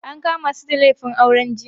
An kama su da laifin auren jinsi.